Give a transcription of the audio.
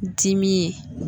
Dimi ye